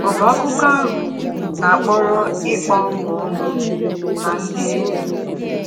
Ọ̀ bụ akụkọ ahụ na-akpọrọ ịkpa ọṅụ ọnụ na ndị enyi?